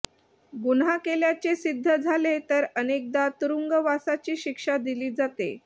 गुन्हा केल्याचे सिद्ध झाले तर अनेकदा तुरुंगवासाची शिक्षा दिली जाते